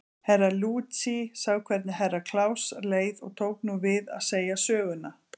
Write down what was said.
Herra Luigi sá hvenig Herra Kláus leið og tók nú við að segja söguna.